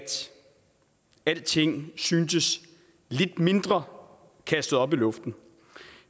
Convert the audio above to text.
alting syntes lidt mindre kastet op i luften